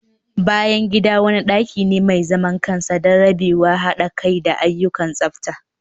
bayan gida wani daki ne mai zaman kansa don rabewa, hada kai da sauran ayyukan tsafta